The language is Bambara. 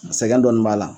Sɛgɛn dɔɔnin b'a la